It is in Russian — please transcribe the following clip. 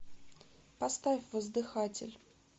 поставь воздыхатель